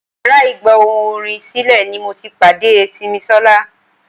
Yàrá ìgba ohùn orin sílè ni mo ti pàdé Simisola.